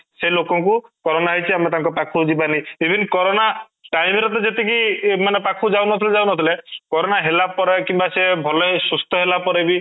ସେ ଲୋକ ଙ୍କୁ corona ହେଇଛି ଆମେ ତାଙ୍କ ପାଖ କୁ ଯିବନି even corona time ରେ ତ ଯେତିକି ମାନେ ପାଖ କୁ ଯାଉନଥିଲେ ଯାଉନଥିଲେ corona ହେଲା ପରେ କିମ୍ବା ସେ ଭଲ ହେଇ ସୁସ୍ଥ ହେଲା ପରେ ବି